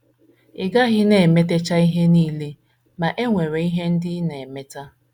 Ị gaghị na - emetacha ihe nile, ma, e nwere ihe ndị ị na - emeta.